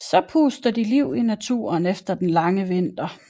Så puster de liv i naturen efter den lange vinter